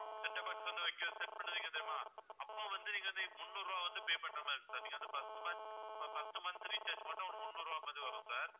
setup box வந்து வைக்க set பண்றீங்க தெரியுமா அப்போ வந்து நீங்க அந்த முந்நூறு ரூபாய் வந்து pay பண்ற மாதிரி இருக்கும் sir நீங்க வந்து first month first month recharge மட்டும் ஒரு முந்நூறு ரூபாய் மாதிரி வரும் sir